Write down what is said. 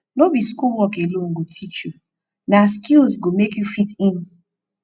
no be school work alone go teach you na skills go make you fit in